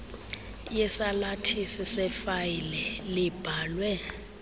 yesalathisi sefayile libhalwe